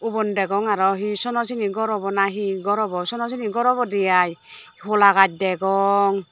ubon degong arow hi sono sini gor obow na hi gor obow sono sini gor obodey aai holagaj degong.